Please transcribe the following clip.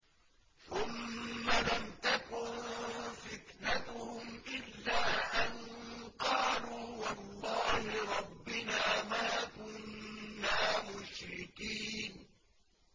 ثُمَّ لَمْ تَكُن فِتْنَتُهُمْ إِلَّا أَن قَالُوا وَاللَّهِ رَبِّنَا مَا كُنَّا مُشْرِكِينَ